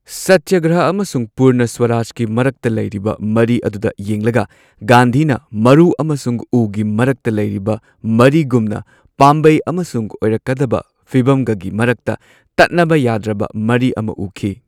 ꯁꯇ꯭ꯌꯒ꯭ꯔꯍ ꯑꯃꯁꯨꯡ ꯄꯨꯔꯅ ꯁ꯭ꯋꯥꯔꯥꯖꯀꯤ ꯃꯔꯛꯇ ꯂꯩꯔꯤꯕ ꯃꯔꯤ ꯑꯗꯨꯗ ꯌꯦꯡꯂꯒ ꯒꯥꯟꯙꯤꯅ ꯃꯔꯨ ꯑꯃꯁꯨꯡ ꯎꯒꯤ ꯃꯔꯛꯇ ꯂꯩꯕ ꯃꯔꯤꯒꯨꯝꯅ ꯄꯥꯝꯕꯩ ꯑꯃꯁꯨꯡ ꯑꯣꯏꯔꯛꯀꯗꯕ ꯐꯤꯚꯝꯒꯒꯤ ꯃꯔꯛꯇ ꯇꯠꯅꯕ ꯌꯥꯗ꯭ꯔꯕ ꯃꯔꯤ ꯑꯃ ꯎꯈꯤ꯫